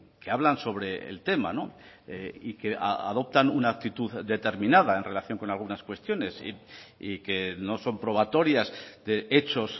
que hablan sobre el tema y que adoptan una actitud determinada en relación con algunas cuestiones y que no son probatorias de hechos